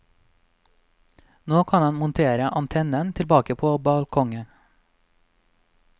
Nå kan han montere antennen tilbake på balkongen.